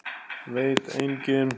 Veit enginn?